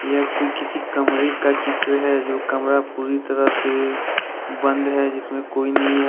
यह कोई किसी कमरे का चित्र है जो कमरा पूरी तरह से बंद है जिसमें कोई नहीं है |